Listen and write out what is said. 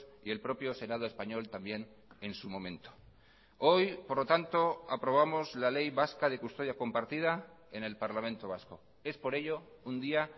y el propio senado español también en su momento hoy por lo tanto aprobamos la ley vasca de custodia compartida en el parlamento vasco es por ello un día